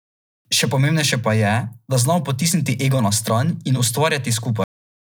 Še pomembnejše pa je, da znamo potisniti ego na stran in ustvarjati skupaj.